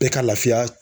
Bɛɛ ka lafiya